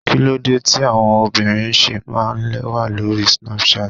Kíló dé tí àwọn obìnrin ṣe máa ń lẹ́wà lórí Snapchat?